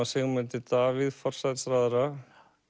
Sigmundi Davíð forsætisráðherra